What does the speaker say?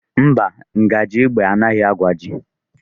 Mba, ngaji ígwè agaghị agbaji.